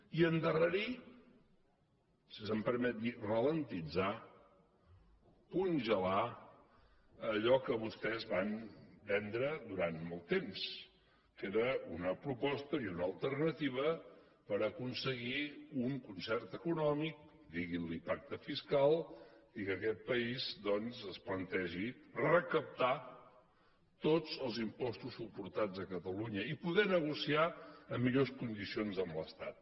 i endarrerir si se’m permet dir ralentitzargelar allò que vostès van vendre durant molt temps que era una proposta i una alternativa per aconseguir un concert econòmic diguin ne pacte fiscal i que aquest país doncs es plantegi recaptar tots els impostos suportats a catalunya i poder negociar en millors condicions amb l’estat